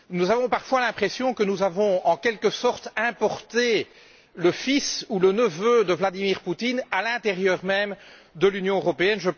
Nous avons parfois l'impression que nous avons en quelque sorte importé le fils ou le neveu de Vladimir Poutine à l'intérieur même de l'Union européenne.